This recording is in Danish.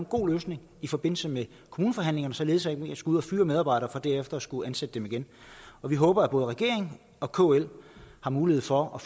god løsning i forbindelse med kommuneforhandlingerne således at vi ikke skal ud at fyre medarbejdere for derefter at skulle ansætte dem igen vi håber at både regeringen og kl har mulighed for at